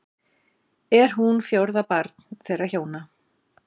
Er hún fjórða barn þeirra hjóna